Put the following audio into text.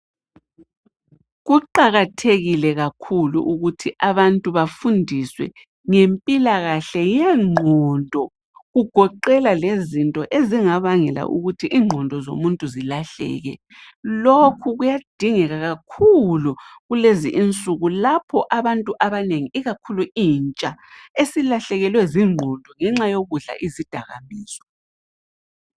Kuqakathekile kakhulu ukuthi abantu bafundiswe ngempilakahle yengqondo kugoqela lezinto ezingabangela ukuthi ingqondo zomuntu zilahleke. Lokhu kuyadingeka kakhulu kulezi insuku lapho abantu abanengi ikakhulu intsha esilahlekelwe zingqondo ngenxa yokudla izidakamizwa.